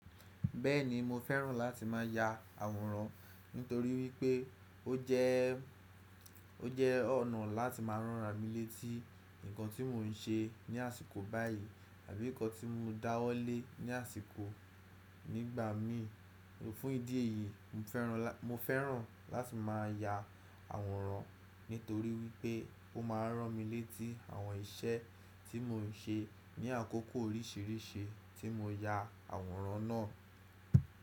Bẹ́ẹ̀ni mo fẹ́ràn láti má ya àwòrán nítorí wípé ó jẹ́, ó jẹ́ ọ̀nà láti máa ràn mí létí nǹkan tí mò ń ṣe ní àsìkò báyìí tàbí nǹkan tí mọ dáwọ́ lé ní àsìkò nígbàmíì. Fún ìdí èyí, mo fẹ́ràn, mo fẹ́ràn láti má ya àwòrán nítorí wípé ó ma rán mi létí àwọn iṣẹ́ tí mò ń ṣe ní àkókò oríṣiríṣi tí mo ya àwòrán náà.